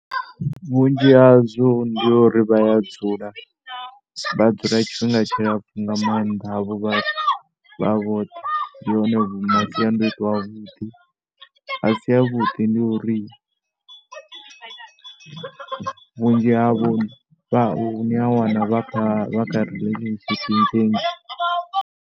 Vhunzhi hazwo ndi uri vha ya dzula, vha dzula tshifhinga tshilapfhu nga maanḓa havho vhathu vha vhoṱhe. Ndi one masiandaitwa avhuḓi, a si avhuḓi ndi uri vhunzhi havho vha, ni a wana vha kha relationship nnzhi nnzhi.